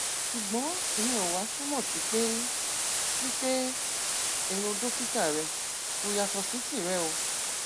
ṣùgbọn ìyẹn ò wá túmọ sí pé sí pé èrò dókítà rẹ kò yàtọ sí tìrẹ o